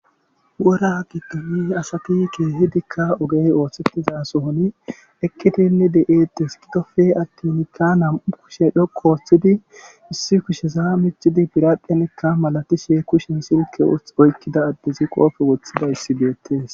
wora gidoni asati kehidikka ogey ooththettizasohuni eqitinne de7etes gidofe attinkka nam7u kushe dhoqo ooththidi issi kushesaa michidi biraqenekka malatishe kushen silke oykkida addezi qoofe woththidayissi beettes